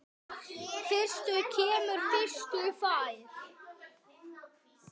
Fyrstur kemur, fyrstur fær!